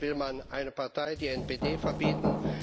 In Deutschland will man eine Partei, die NPD, verbieten.